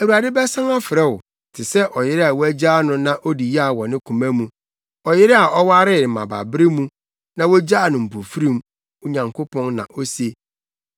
Awurade bɛsan afrɛ wo te sɛ ɔyere a woagyaa no na odi yaw wɔ ne koma mu, ɔyere a ɔwaree mmabaabere mu na wogyaa no mpofirim,” wo Nyankopɔn na ose.